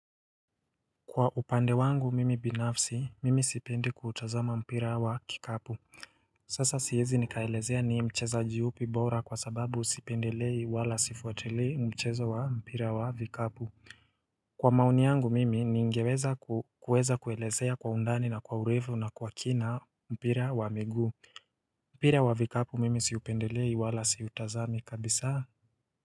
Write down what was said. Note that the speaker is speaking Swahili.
Kwa upande wangu mimi binafsi mimi sipendi kutazama mpira wa kikapu Sasa siwezi nikaelezea ni mcheza upi bora kwa sababu sipendelei wala sifuatili mchezo wa mpira wa vikapu Kwa maoni yangu mimi ningeweza kuelezea kwa undani na kwa urefu na kwa kina mpira wa miguu mpira wa vikapu mimi sipendelei wala siutazami kabisa.